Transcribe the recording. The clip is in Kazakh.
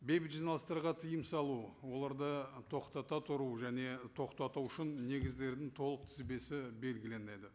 бейбіт жиналыстарға тыйым салу оларды тоқтата тұру және тоқтату үшін негіздердің толық тізбесі белгіленеді